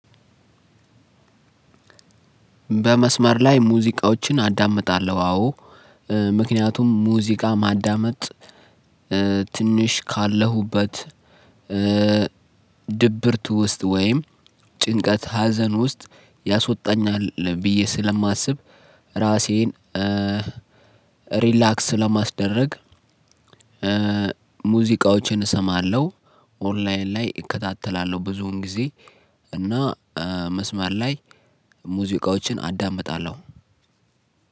በመስመር ላይ ሙዚቃወችን አዳምጣለሁ አወ። ምክንያቱም ሙዚቃ ማዳመጥ ትንሽ ካለሁበት ድብርት ውስጥ ወይም ጭንቀት ሀዘን ውስጥ ያሶጣኛል ብዬ ስለማስብ ራሴን ሪላክስ ለማስደረግ ሙዚቃዎችን እሰማለሁ። ኦንላይን ላይ እከታተላለሁ ብዙውን ጊዜ እና መስመር ላይ ሙዚቃዎችን አዳምጣለሁ።